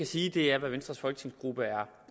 sige er hvad venstres folketingsgruppe